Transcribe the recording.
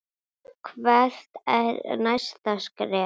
Hvert er næsta skref?